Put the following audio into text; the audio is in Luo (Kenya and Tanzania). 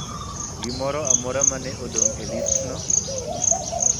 gimoro amora ma ne odong ' e listno